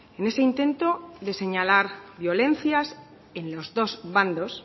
en ese intento de señalar violencias en los dos bandos